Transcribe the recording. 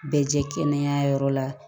Bɛɛ jɛ kɛnɛya yɔrɔ la